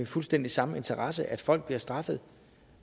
fuldstændig samme interesse nemlig at folk bliver straffet